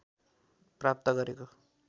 प्राप्त गरेको